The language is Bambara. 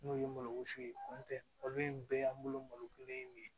N'o ye malo wusu ye o tɛ olu ye bɛɛ y'an bolo malokɛnɛ ye